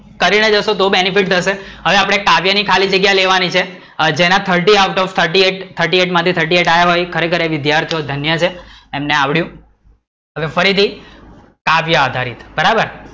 કરી ને જશો તો benefit થશે, હવે આપડે કાવ્ય ની ખાલી જગ્યા લેવાની છે જેના thirty out of thirty eight અને જેના થર્ટી એઈટ માંથી થર્ટી એઈટ આવ્યા હોય ખરેખર એ વિદ્યાર્થીઓ ધન્ય છે એમને આવડિયું, આને ફરી થી કાવ્ય આધારિત, બરાબર